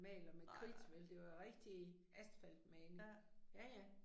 Nej nej. Ja